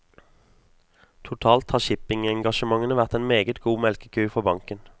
Totalt har shippingengasjementene vært en meget god melkeku for banken.